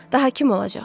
Daha kim olacaq?